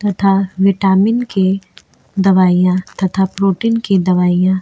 तथा विटामिन की दवाइयाँ तथा प्रोटीन की दवाइयाँ --